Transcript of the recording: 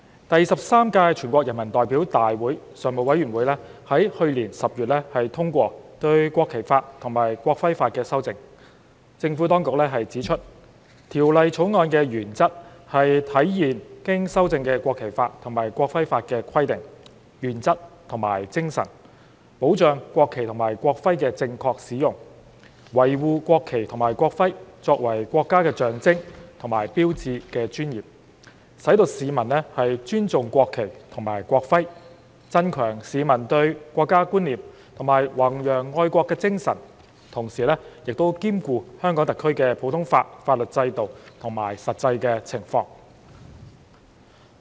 第十三屆全國人民代表大會常務委員會在去年10月通過對《國旗法》及《國徽法》的修正，政府當局指出，《條例草案》的原則，是體現經修正的《國旗法》及《國徽法》的規定、原則和精神，保障國旗及國徽的正確使用，維護國旗及國徽作為國家的象徵和標誌的尊嚴，使市民尊重國旗及國徽，增強市民對國家觀念和弘揚愛國精神，同時兼顧香港特區的普通法法律制度及實際情況。